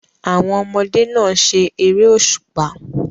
Àwọn ọmọdé náà se eré òṣùpá.